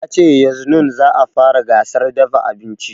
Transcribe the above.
Ya ce yaznun za a fara gasar dafa abinci